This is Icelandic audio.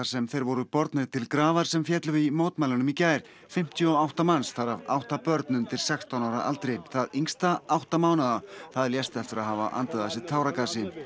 sem þeir voru bornir til grafar sem féllu í mótmælunum í gær fimmtíu og átta manns þar af átta börn undir sextán ára aldri það yngsta átta mánaða það lést eftir að hafa andað að sér táragasi